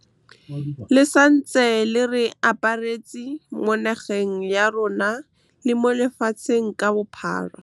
Le santse le re aparetse, mo nageng ya rona le mo lefatsheng ka bophara. Le santse le re aparetse, mo nageng ya rona le mo lefatsheng ka bophara.